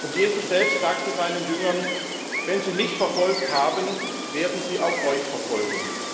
Jesus selbst sagte seinen Jüngern Wenn sie mich verfolgt haben, werden sie auch euch verfolgen.